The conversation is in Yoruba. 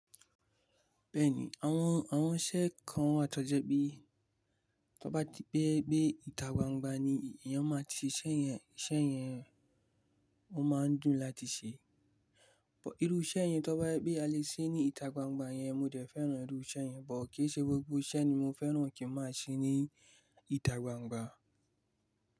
Bẹ́ẹ̀ni, àwọn, àwọn iṣẹ́ kan wà tó jẹ́ pé tó bá ti pé pé ìtà gbangba ni èèyàn máa ti ṣe iṣẹ́ yẹn, iṣẹ́ yẹn wọ́n máa ń dùn láti ṣe. Bọ̀ irú iṣẹ́ yẹn tó bá yẹ pé a lè ṣe ní ìtà gbangba yẹn, mo dẹ̀ fẹ́ràn irú iṣẹ́ yẹn, bọ̀ kí í ṣe gbogbo iṣẹ́ ni mo fẹ́ràn kí n máa ṣe ní ìtà gbangba.